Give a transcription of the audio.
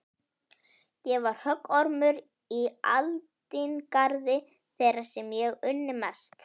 Ég var höggormur í aldingarði þeirra sem ég unni mest.